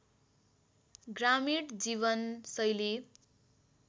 ग्रामीण जीवन शैली